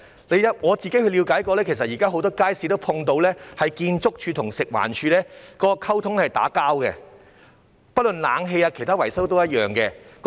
據我了解，現時很多街市都遇到建築署和食環署的溝通出現"打架"的情況，不論在冷氣和其他維修方面都一樣。